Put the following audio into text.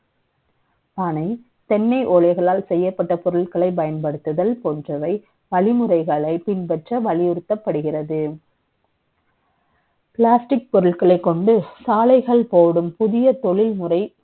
பனை, தெ ன்ன ஓலை களால் செ ய்யப்பட்ட பொருட்கள பயன்படுத்துதல் போன்றவை, வழிமுறை களை பின்பற்ற வலியுறுத்தப்படுகிறது Plastic பொருட்கள கொண்டு, சாலைகள் போடும் புதிய தொழில்முறை,